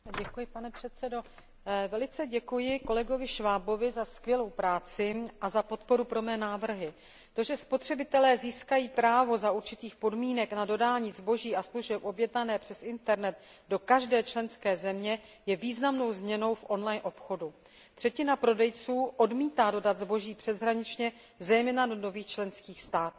Pane předsedající, velice děkuji kolegovi Schwabovi za skvělou práci a za podporu mých návrhů. To, že spotřebitelé získají právo za určitých podmínek na dodání zboží a služeb objednaných přes internet do každé členské země, je významnou změnou v on line obchodu. Třetina prodejců odmítá dodat zboží přeshraničně, zejména do nových členských států.